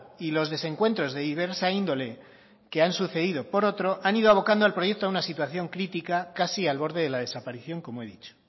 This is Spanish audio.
y los desencuentros de diversa índole que han sucedido por otro han ido abocando al proyecto a una situación crítica casi al borde de la desaparición como he dicho